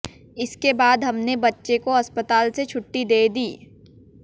इसके बाद हमने बच्चे को अस्पताल से छुट्टी दे दी